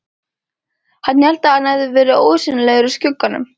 Hann hélt að hann hefði verið ósýnilegur í skugganum!